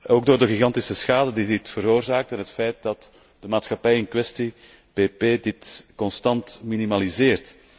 Ook door de gigantische schade die dit veroorzaakt en het feit dat de maatschappij in kwestie, BP, dit constant minimaliseert.